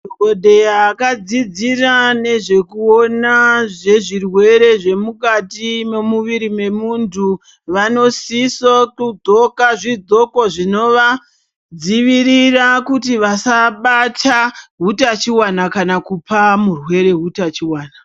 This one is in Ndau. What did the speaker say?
Madhokodheya akadzidzira nezvekuona zvezvirwere zvemukati memu viri memuntu vanodisa kugqoka zvi gogqo zvinova dzivirira kuti vasa bata bata hutachiona kana kupa murwere hutachiona.